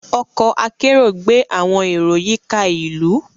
Ọkọ akero gbé awọn ero yíká ìlú